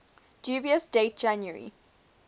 dubious date january